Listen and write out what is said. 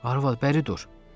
Arvad, bəri dur.